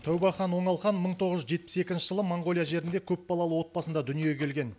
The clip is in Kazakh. тәубәхан оңалхан мың тоғыз жүз жетпіс екінші жылы моңғолия жерінде көпбалалы отбасында дүниеге келген